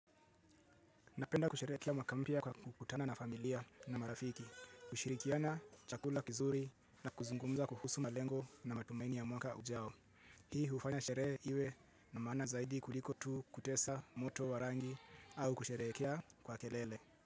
Napenda kusherehekea mwaka mpya kwa kukutana na familia na marafiki. Kushirikiana chakula kizuri na kuzungumza kuhusu malengo na matumaini ya mwaka ujao. Hii hufanya sherehe iwe na maana zaidi kuliko tu kutesa moto warangi au kusherehekea kwa kelele.